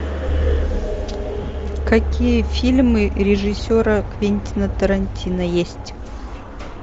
какие фильмы режиссера квентина тарантино есть